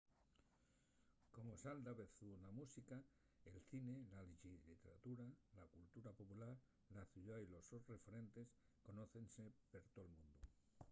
como sal davezu na música el cine la lliteratura y la cultura popular la ciudá y los sos referentes conócense per tol mundu